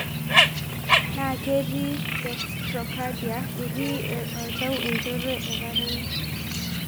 Naa ketii dextrocardia(eti oltau enchoto etatene )